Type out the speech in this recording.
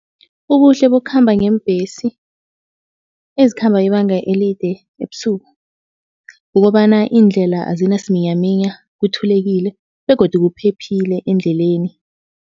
Ubuhle bokukhamba ngeembhesi ezikhamba ibanga elide ebusuku kukobana indlela azinasiminyaminya, kuthulekile begodu kuphephile endleleni.